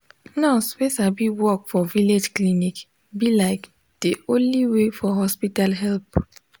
nurse wey sabi work for village clinic be like de only way for hospital help.